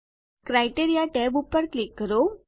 criteria tab પર click કરો